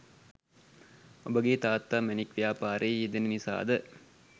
ඔබගෙ තාත්තා මැණික් ව්‍යාපාරයෙ යෙදෙන නිසාද